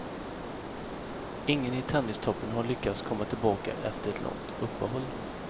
Ingen i tennistoppen har lyckats komma tillbaka efter ett långt uppehåll.